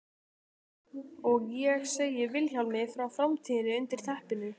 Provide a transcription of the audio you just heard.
Og ég segi Vilhjálmi frá framtíðinni undir teppinu.